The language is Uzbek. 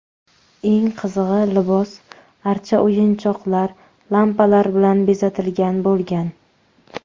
Eng qizig‘i libos archa o‘yinchoqlar, lampalar bilan bezatilgan bo‘lgan.